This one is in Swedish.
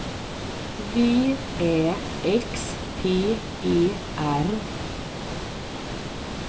V Ä X T E R